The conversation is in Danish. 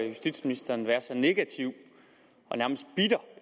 justitsministeren være så negativ og nærmest bitter